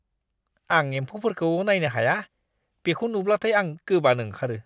आं एमफौफोरखौ नायनो हाया; बेखौ नुब्लाथाय आं गोबानो ओंखारो।